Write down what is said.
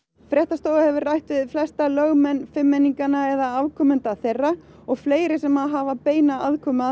fréttastofa hefur rætt við flesta lögmenn eða afkomenda þeirra og fleiri sem hafa beina aðkomu að